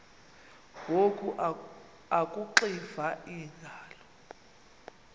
ngoku akuxiva iingalo